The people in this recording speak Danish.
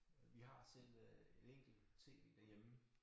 Vi har selv øh et enkelt tv derhjemme